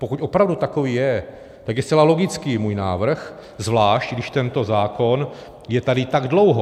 Pokud opravdu takový je, tak je zcela logický můj návrh, zvlášť když tento zákon je tady tak dlouho.